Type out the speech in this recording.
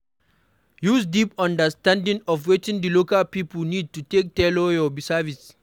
Use deep understanding of wetin di local pipo need to take tailor your services